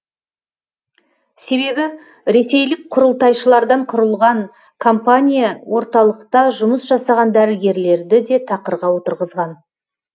себебі ресейлік құрылтайшылардан құралған компания орталықта жұмыс жасаған дәрігерлерді де тақырға отырғызған